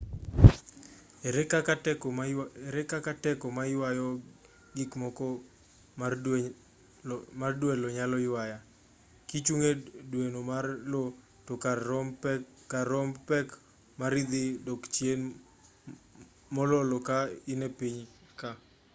ere kaka teko mayuayo gikmoko mar dwe io nyalo ywaya kichung' e dweno mar io to kar romb pek mari dhi dok chien mololo ka in e piny ka